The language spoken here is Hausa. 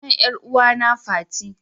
Sunan ƴar'uwana fati.